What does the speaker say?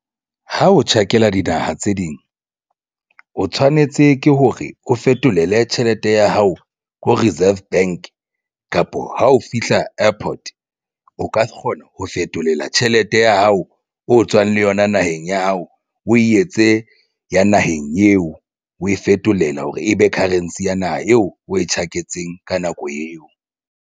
Ha o tjhakela dinaha tse ding o tshwanetse ke hore o fetolele tjhelete ya hao ko Reserve Bank kapo ha o fihla airport o ka kgona ho fetolela tjhelete ya hao o tswang le yona naheng ya hao. O etse ya naheng eo o e fetolela hore e be currency ya naha eo o e tjhaketseng ka nako eo.